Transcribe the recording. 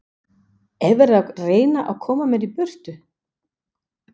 Er verið að reyna að koma mér í burtu?